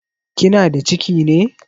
Kina da ciki ne?